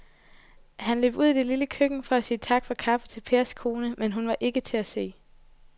Han løb ud i det lille køkken for at sige tak for kaffe til Pers kone, men hun var ikke til at se.